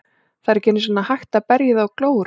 Það er ekki einu sinni hægt að berja í þá glóru.